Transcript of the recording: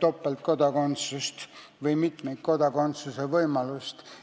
topeltkodakondsust või mitmikkodakondsuse võimalust.